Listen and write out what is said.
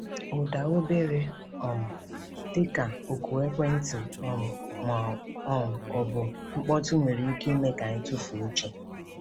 Ụda obere um — dịka oku ekwentị um ma um ọ bụ mkpọtụ nwere ike ime ka anyị tufuo uche.